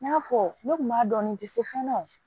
N y'a fɔ ne kun b'a dɔn n tɛ se fɛn na o